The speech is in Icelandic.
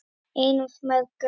Einu af mörgum.